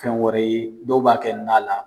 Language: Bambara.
Fɛn wɛrɛ ye dɔw b'a kɛ na la.